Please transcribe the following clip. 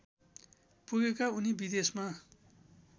पुगेका उनी विदेशमा